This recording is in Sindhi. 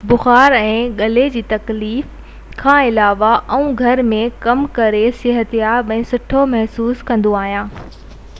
بخار ۽ غلي ۾ تڪليف کان علاوه آئون گهر ۾ ڪم ڪري صحتياب ۽ سٺو محسوس ڪندو آهيان